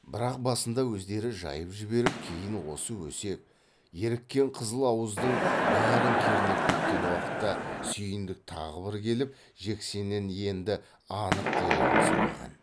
бірақ басында өздері жайып жіберіп кейін осы өсек еріккен қызыл ауыздың бәрін кернеп кеткен уақытта сүйіндік тағы бір келіп жексеннен енді анық дерегін сұраған